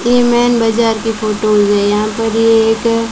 ये मेन बाजार की फोटो मुझे यहां पर एक--